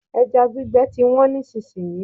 Ẹja gbígbẹ ti wọ́n nísìsiyìí.